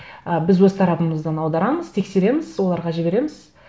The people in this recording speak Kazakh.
ы біз өз тарапымыздан аударамыз тексереміз оларға жібереміз